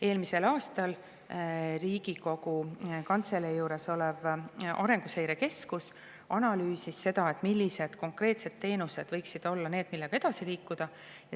Eelmisel aastal Riigikogu Kantselei juures olev Arenguseire Keskus analüüsis, millised konkreetsed teenused võiksid olla need, millega edasi liikuda.